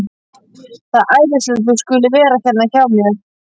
Það er æðislegt að þú skulir vera hérna hjá mér.